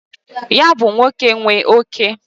Ya bu nwoke nwe oke.